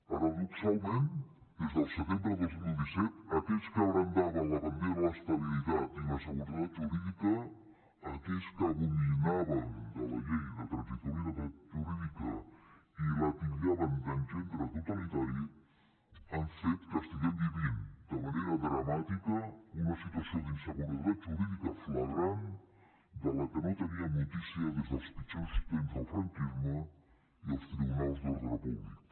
paradoxalment des del setembre de dos mil disset aquells que brandaven la bandera de l’estabilitat i la seguretat jurídica aquells que abominaven de la llei de transitorietat jurídica i la titllaven d’esguerro totalitari han fet que estiguem vivint de manera dramàtica una situació d’inseguretat jurídica flagrant de la que no teníem notícia des dels pitjors temps del franquisme i els tribunals d’ordre públic